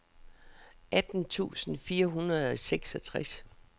atten tusind fire hundrede og seksogtres